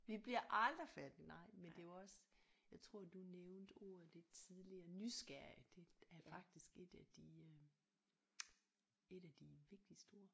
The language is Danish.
Vi bliver aldrig færdige nej men det er jo også jeg tror du nævnte ordet lidt tidligere nysgerrige det er faktisk et af de øh et af de vigtigste ord